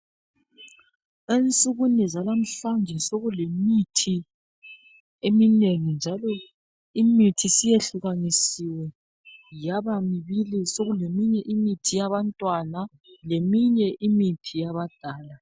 Ensukwini zalamhlanje sekulemithi eminengi njalo imithi siyehlukanisiwe yaba mbili, sekuleminye imithi yabantwana leminye imithi yabadala.